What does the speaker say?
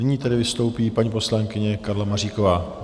Nyní tedy vystoupí paní poslankyně Karla Maříková.